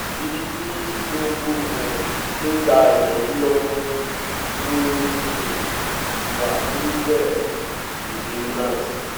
ibi tí tinubu um ti ń gba ìtọ́jú lọ́wọ́ ló um wà lórílẹ̀‐èdè france